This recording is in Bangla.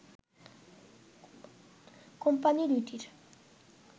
কোম্পানি দুইটির